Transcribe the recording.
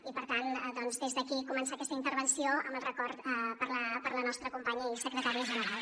i per tant doncs des d’aquí començar aquesta intervenció amb el record per a la nostra companya i secretària general